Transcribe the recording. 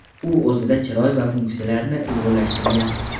U o‘zida chiroy va funksiyalarni uyg‘unlashtirgan.